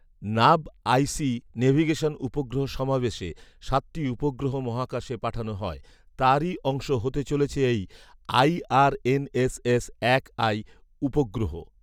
NavIC navigation উপগ্রহ সমাবেশে সাতটি উপগ্রহ মহাকাশে পাঠানো হয়, তারই অংশ হতে চলেছে এই আই.আর.এন.এস.এস এক আই উপগ্রহ